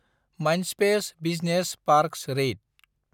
Mindspace business park रेइत